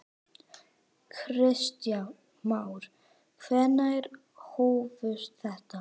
Kristján Már: Hvenær hófst þetta?